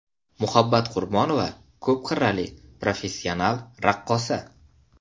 Muhabbat Qurbonova ko‘p qirrali professional raqqosa.